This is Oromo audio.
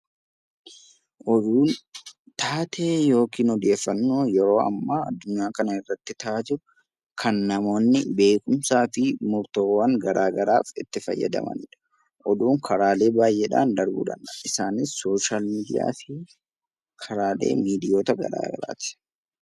Oduun taatee yookiin odeeffannoo yeroo ammaa addunyaa kana irratti ta'aa jiru kan namoonni beekumsaa fi murtoowwan garaagaraaf itti fayyadamani dha. Oduun karaalee baay'eedhaan darbuu danda'a. Isaanis, sooshaal miidiyaa fi karaalee miidiyoota garaagaraati.